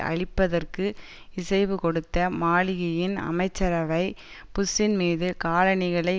அழிப்பதற்கு இசைவு கொடுத்த மாலிகியின் அமைச்சரவை புஷ்ஷின்மீது காலணிகளை